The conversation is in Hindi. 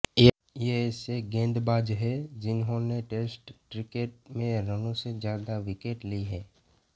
ये ऐसे गेंदबाज है जिन्होंने टेस्ट क्रिकेट में रनों से ज्यादा विकेट लिए है